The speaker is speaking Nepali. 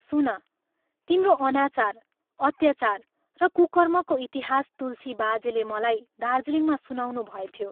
सुन, तिम्रो अनाचार, अत्याचार र कुकर्मको इतिहास तुलसी बाजेले मलाई दार्जीलिङमा सुनाउनुभएथ्यो।